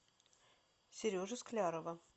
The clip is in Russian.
сережи склярова